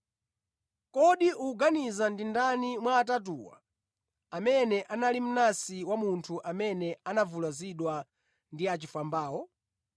“Kodi ukuganiza ndi ndani mwa atatuwa, amene anali mnansi wa munthu amene anavulazidwa ndi achifwambawo?”